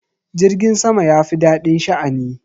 Jirgin sama ya fi daɗin sha'ani.